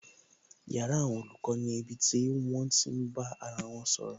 Yàrá àwọn olùkọ́ ni ibi tí wón ti máa bá ara wọn sọ̀rọ̀